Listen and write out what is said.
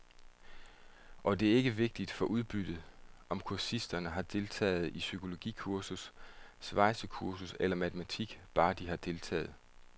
Og det er ikke vigtigt for udbyttet, om kursisterne har deltaget i psykologikursus, svejsekursus eller matematik, bare de har deltaget.